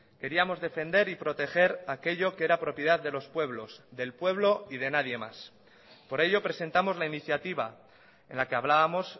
queríamos defender y proteger aquello que era propiedad de los pueblos del pueblo y de nadie más por ello presentamos la iniciativa en la que hablábamos